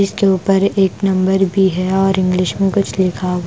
इसके ऊपर एक नंबर भी है और इंग्लिश में कुछ लिखा --